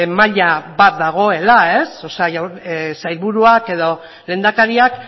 maila bat dagoela sailburuak edo lehendakariak